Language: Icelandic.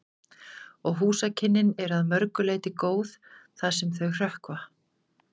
Og húsakynnin eru að mörgu leyti góð, það sem þau hrökkva.